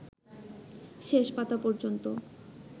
শেষ পাতা পর্যন্ত